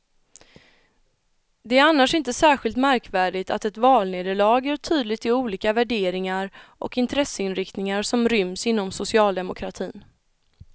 Det är annars inte särskilt märkvärdigt att ett valnederlag gör tydligt de olika värderingar och intresseinriktningar som ryms inom socialdemokratin.